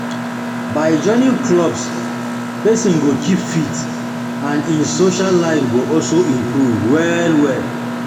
By joining clubs, person go keep fit and im social life go also improve well well